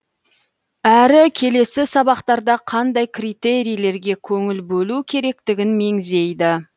әрі келесі сабақтарда қандай критерийлерге көңіл бөлу керектігін меңзейді